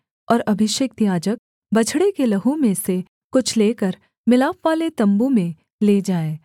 और अभिषिक्त याजक बछड़े के लहू में से कुछ लेकर मिलापवाले तम्बू में ले जाए